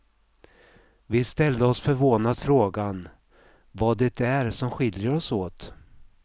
Vi ställde oss förvånat frågan vad det är som skiljer oss åt.